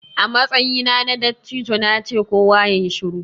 A matsayina na dattijo na ce 'Kowa yayi shiru'!